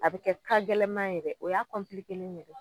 A be kɛ ka gɛlɛman ye dɛ o y'a kɔnpilikelen ye